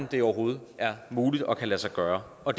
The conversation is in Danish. det overhovedet er muligt og kan lade sig gøre og